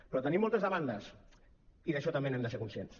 però tenim moltes demandes i d’això també n’hem de ser conscients